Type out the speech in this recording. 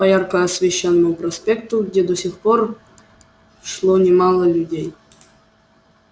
по ярко освещённому проспекту где до сих пор шло немало людей